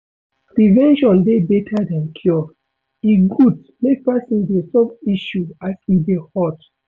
Prevention dey better than cure, e good make person dey solve issue as e dey hot